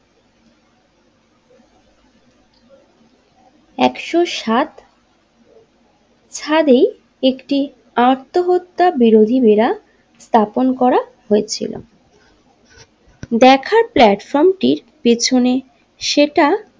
একশো সাত ছাদে আত্মহত্যা বিরোধী বেড়া স্থাপন করা হয়েছিল দেখার প্লাটফর্মটির পিছনে সেটা।